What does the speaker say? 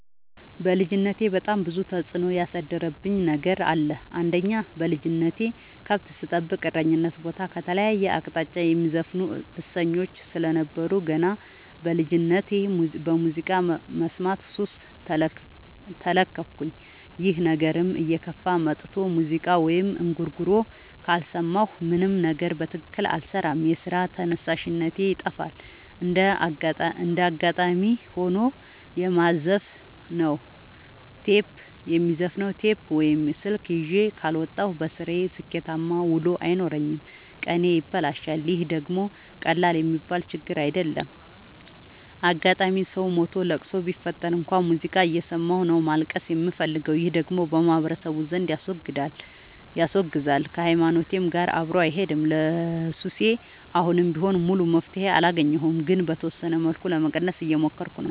በልጅነቴ በጣም ብዙ ተጽዕኖ ያሳደረብኝ ነገር አለ። አንደኛ በልጅነቴ ከብት ስጠብቅ እረኝነት ቦታ ከተለያየ አቅጣጫ የሚዘፍኑ እሰኞች ስለነበሩ። ገና በልጅነቴ በሙዚቃ መስማት ሱስ ተለከፍኩኝ ይህ ነገርም እየከፋ መጥቶ ሙዚቃ ወይም እንጉርጉሮ ካልሰማሁ ምንም ነገር በትክክል አልሰራም የስራ ተነሳሽነቴ ይጠፋል። እንደጋጣሚ ሆኖ የማዘፍ ነው ቴፕ ወይም ስልክ ይዤ ካልወጣሁ። በስራዬ ስኬታማ ውሎ አይኖረኝም ቀኔ ይበላሻል ይህ ደግሞ ቀላል የሚባል ችግር አይደለም። አጋጣም ሰው ሞቶ ለቅሶ ቢፈጠር እንኳን ሙዚቃ እየሰማሁ ነው ማልቀስ የምፈልገው ይህ ደግሞ በማህበረሰቡ ዘንድ ያስወግዛል። ከሀይማኖቴም ጋር አብሮ አይሄድም። ለሱሴ አሁንም ቢሆን ሙሉ መፍትሔ አላገኘሁም ግን በተወሰነ መልኩ ለመቀነስ እየሞከርኩ ነው።